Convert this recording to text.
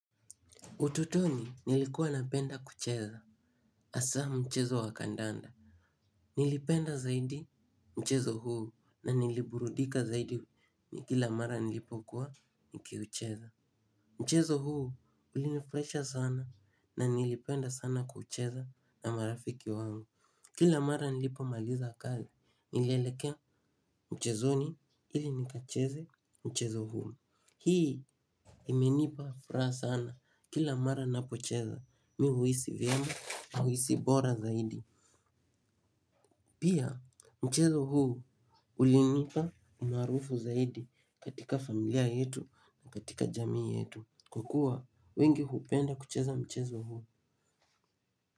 Utotoni nilikuwa napenda kucheza hasa mchezo wa kandanda. Nilipenda zaidi mchezo huu na niliburudika zaidi kila mara nilipokuwa nikiucheza. Mchezo huu ulinifraisha sana na nilipenda sana kucheza na marafiki wangu. Kila mara nilipomaliza kazi nilielekea mchezoni ili nikacheze mchezo huu. Hii imenipa furaha sana kila mara ninapocheza mimi huhisi vyema huhisi bora zaidi. Pia mchezo huu ulinipa umaarufu zaidi katika familia yetu na katika jamii yetu. Kwa kuwa wengi hupenda kucheza mchezo huu.